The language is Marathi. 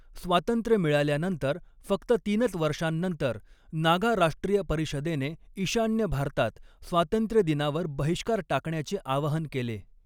स्वातंत्र्य मिळाल्यानंतर फक्त तीनच वर्षांनंतर, नागा राष्ट्रीय परिषदेने ईशान्य भारतात स्वातंत्र्यदिनावर बहिष्कार टाकण्याचे आवाहन केले.